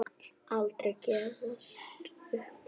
Aldrei gefist upp.